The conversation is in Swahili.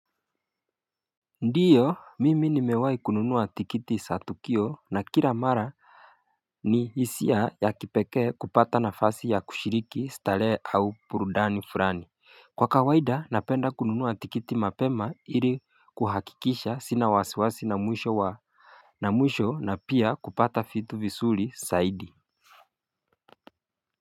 Ndiyo mimi nimewai kununuwa tikiti sa tukio na kila mara ni hisia ya kipekee kupata nafasi ya kushiriki stalehe au purudani furani kwa kawaida napenda kununuwa tikiti mapema iri kuhakikisha sina wasiwasi na mwisho wa na mwisho na pia kupata fitu visuri saidi.